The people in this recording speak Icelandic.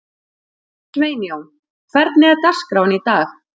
Sveinjón, hvernig er dagskráin í dag?